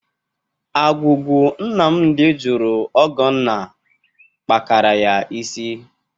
Agwugwu Nnamdị jụrụ Ọgọnna kpakara ya isi.